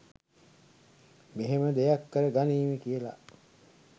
මෙහෙම දෙයක් කර ගනීවි කියලා